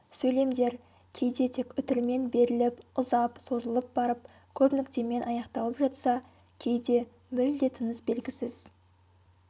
сөйлемдер кейде тек үтірмен беріліп ұзап созылып барып көп нүктемен аяқталып жатса кейде мүлде тыныс белгісіз